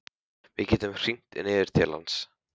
Við gætum hringt niður til hans.